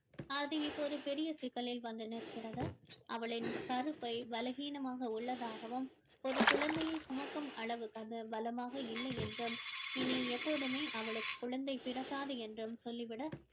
அது இப்போது பெரிய சிக்கலில் வந்து நிற்கிறது அவளின் கருப்பை பலவீனமாக உள்ளதாகவும் ஒரு குழந்தையை சுமக்கும் அளவுக்கு அது பலமாக இல்லை என்றும் இனி எப்போதுமே அவளுக்கு குழந்தை பிறக்காது என்றும் சொல்லிவிட